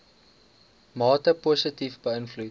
mate positief beïnvloed